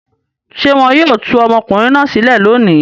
Ṣé wọn yóò tú ọmọkùnrin náà sílẹ̀ lónìí?